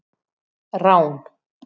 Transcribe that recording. Rán